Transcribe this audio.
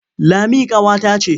Lami ƙawata ce.